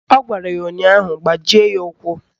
Ọ gwara ya ụnyaahụ " Gbajie ya ụkwụ"!